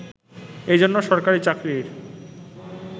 এজন্য সরকারি চাকরির